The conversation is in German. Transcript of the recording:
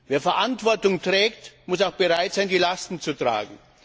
Wer Verantwortung trägt, muss auch bereit sein, Lasten zu tragen.